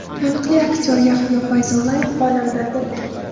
Taniqli aktyor Yahyo Fayzullayev olamdan o‘tdi.